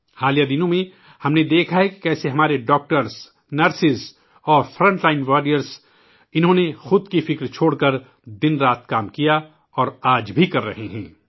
حال کے دنوں میں ، ہم نے دیکھا ہے کہ کیسے ہمارے ڈاکٹروں ، نرسوں اور صف اول کے جانبازوں نے خود کی فکر چھوڑ کر دن رات کام کیا اور آج بھی کر رہے ہیں